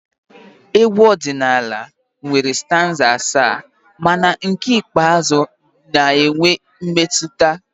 Egwu ọdịnala nwere stanza asaa mana nke ikpeazụ na-enwe mmetụta